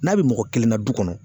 N'a bi mɔgɔna kelen na du kɔnɔ